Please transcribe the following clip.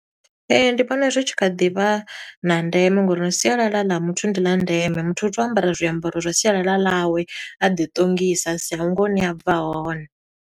Ee, ndi vhona zwi tshi kha ḓi vha na ndeme ngo uri sialala ḽa muthu ndi ḽa ndeme. Muthu u tea u ambara zwiambaro zwa sialala ḽawe, a ḓi ṱongisa a si hangwe hune a bva hone.